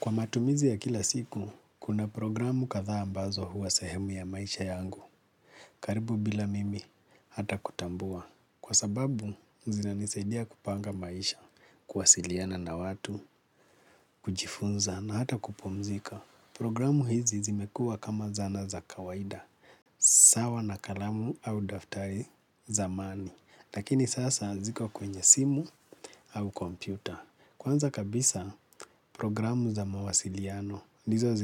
Kwa matumizi ya kila siku, kuna programu kadhaa ambazo huwa sehemu ya maisha yangu, karibu bila mimi hata kutambua. Kwa sababu, zinanisaidia kupanga maisha, kuwasiliana na watu, kujifunza na hata kupumzika. Programu hizi zimekuwa kama zana za kawaida sawa na kalamu au daftari zamani lakini sasa ziko kwenye simu au kompyuta. Kwanza kabisa programu za mawasiliano ndizo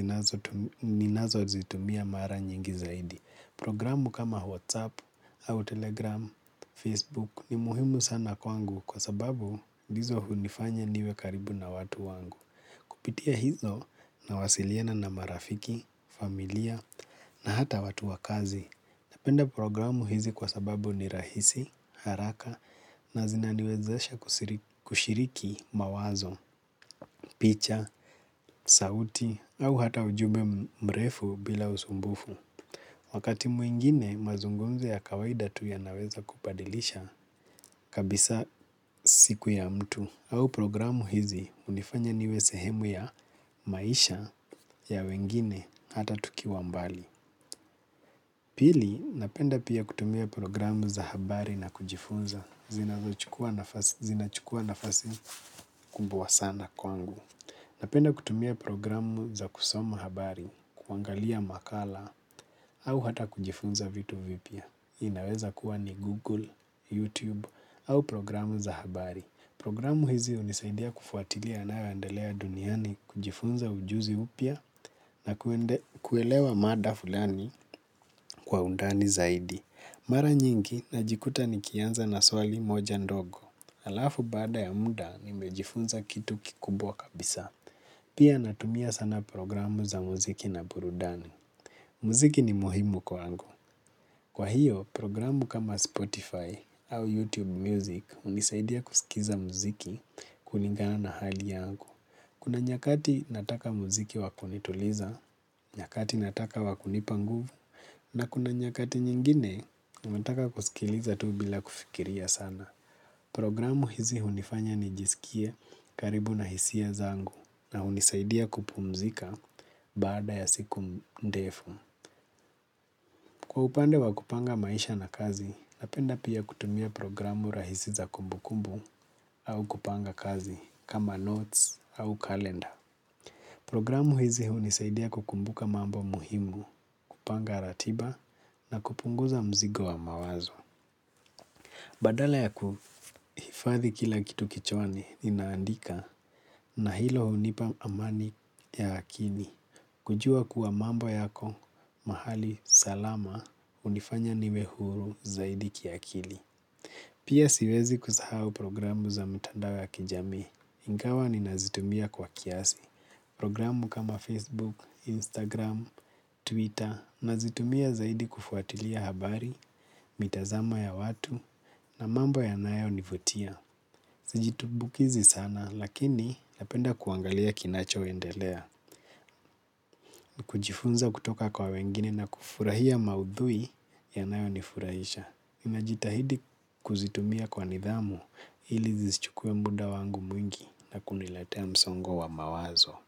zinazo zitumia mara nyingi zaidi. Programu hizi zimekuwa kama zana za kawaida sawa na kalamu au daftari zamani lakini sasa ziko kwenye simu au kompyuta. Kupitia hizo nawasiliana na marafiki familia na hata watu wa kazi. Napenda programu hizi kwa sababu ni rahisi, haraka na zinaniwezaesha kushiriki mawazo, picha, sauti au hata ujume mrefu bila usumbufu. Wakati mwingine mazungumzo ya kawaida tu ya naweza kubadilisha kabisa siku ya mtu. Au programu hizi hunifanya niwe sehemu ya maisha ya wengine hata tukiwa mbali. Pili, napenda pia kutumia programu za habari na kujifunza. Zinachukua nafasi kubwa sana kwangu. Napenda kutumia programu za kusoma habari, kuangalia makala, au hata kujifunza vitu vipya. Inaweza kuwa ni Google, YouTube, au programu za habari. Programu hizi hunisaidia kufwatilia yanayoendelea duniani kujifunza ujuzi mpya na kuelewa mada fulani kwa undani zaidi. Mara nyingi na jikuta ni kianza na swali moja ndogo. Alafu baada ya muda nimejifunza kitu kikubwa kabisa. Pia natumia sana programu za muziki na burudani. Muziki ni muhimu kwangu. Kwa hiyo programu kama Spotify au YouTube music hunisaidia kusikiza muziki kulingana na hali yangu. Kuna nyakati nataka muziki wa kunituliza, nyakati nataka wa kunipa nguvu, na kuna nyakati nyingine unataka kusikiliza tu bila kufikiria sana. Programu hizi unifanya nijisikie karibu na hisia zangu na hunisaidia kupumzika baada ya siku ndefu. Kwa upande wa kupanga maisha na kazi, napenda pia kutumia programu rahisi za kumbukumbu au kupanga kazi kama notes au kalenda. Programu hizi hunisaidia kukumbuka mambo muhimu, kupanga ratiba na kupunguza mzigo wa mawazo. Badala ya kuhifadhi kila kitu kichwani nina andika na hilo hunipa amani ya akili kujua kuwa mambo yako mahali salama hunifanya niwe huru zaidi kiakili. Pia siwezi kusahau programu za mitandao ya kijamii. Ingawa ninazitumia kwa kiasi. Programu kama Facebook, Instagram, Twitter. Nazitumia zaidi kufuatilia habari, mitazama ya watu. Na mambo yanayo nivutia siji tumbukizi sana lakini napenda kuangalia kinacho endelea kujifunza kutoka kwa wengine na kufurahia maudhui yanayonifurahisha najitahidi kuzitumia kwa nidhamu ili zisichukuwe muda wangu mwingi na kuniletea msongo wa mawazo.